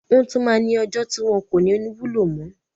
Wọ́n tún máa ní ọjọ́ tí wọn kò ní wúlò mo.